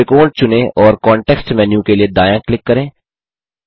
त्रिकोण चुनें और कॉन्टेक्स्ट मेन्यू के लिए दायाँ क्लिक करें